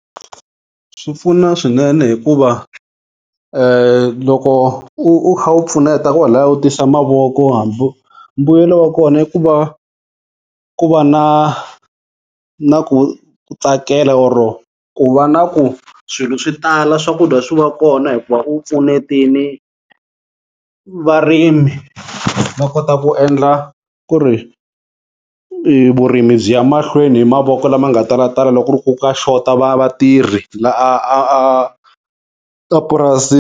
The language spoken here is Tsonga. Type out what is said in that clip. Swipfuna swinene hikuva [ loko u kha u pfuneta kwalaya u tisa mavoko mbuyelo wa kona i ku va ku va na na ku tsakela or ku va na ku swilo swi tala swakudya swi va kona, hikuva u pfunetini varimi va kota ku endla ku ri vurimi byi ya mahlweni hi mavoko lama nga talatala loko ku ri ku ka xota va vatirhi la a a a purasini.